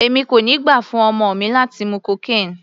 Èmi kò ní gbà fún ọmọ mi láti mú cocaine.